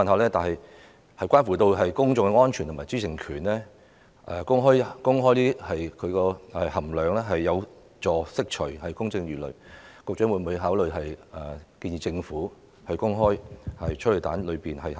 由於關乎公眾安全和知情權，公開催淚彈成分有助釋除公眾疑慮，我想問局長會否考慮建議政府公開催淚彈的成分呢？